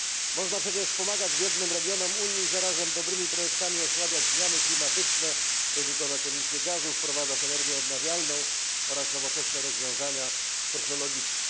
Można przecież pomagać biednym regionom Unii i zarazem dobrymi projektami osłabiać zmiany klimatyczne, redukować emisje gazów, wprowadzać energię odnawialną oraz nowoczesne rozwiązania technologiczne.